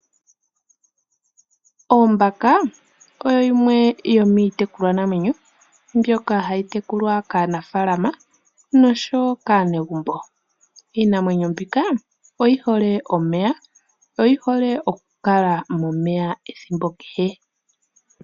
Ombaka oyo yimwe yomiitekulwa namwenyo mbyoka hayi tekulwa kaanimuna, osho wo kaanegumbo. Iinamwenyo mbika oyi hole omeya, oyi hole okukala momeya ethimbo kehe.